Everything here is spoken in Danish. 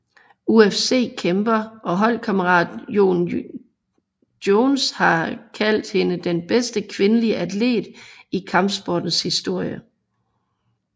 UFC kæmper og holdkammerat Jon Jones har kaldt hende den bedste kvindelige atlet i kampsportens historie